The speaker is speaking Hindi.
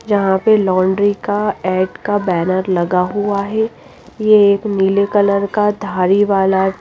यहां पे लॉन्ड्री का एड का बैनर लगा हुआ है ये एक नीले कलर का धारी वाला--